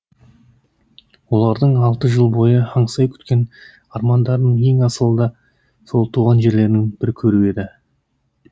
олардың алты жыл бойы аңсай күткен армандарының ең асылы да сол туған жерлерін бір көру еді